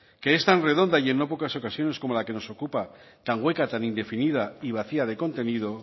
que es tan redonda y no en pocas ocasiones como la que nos ocupa tan hueca tan indefinida y vacía de contenido